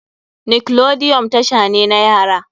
Nickelodeon tasha ne na yara.